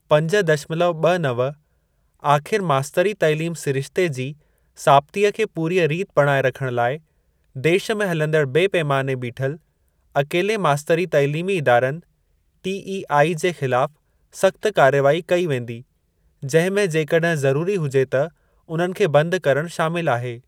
पंज दशमलव ॿ नव आख़िर मास्तरी तैलीम सिरिश्ते जी साबितीअ खे पूरीअ रीति बणाए रखण लाइ देश में हलंदड़ बेपैमाने बीठल अकेले मास्तरी तैलीमी इदारनि (टीईआई) जे ख़िलाफ़ सख्त कार्यवाही कई वेंदी, जंहिं में जेकड॒हिं ज़रूरी हुजे त उन्हनि खे बंद करणु शामिल आहे।